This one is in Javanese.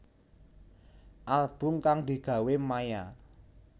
Album kang digawe Maia